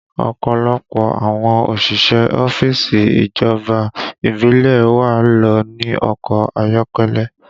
Ọ̀pọ̀lọpọ̀ àwọn òṣìṣẹ́ ọ́fíìsì ìjọba ìbílẹ̀ ẹ wa ló ní ọkọ ayọ́kẹ́lẹ́